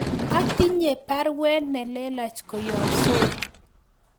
Atinye baruet nelelach koyob Soi